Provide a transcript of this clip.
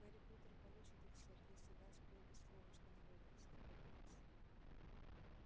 гарри поттер получит их сэр если даст добби слово что не вернётся в хогвартс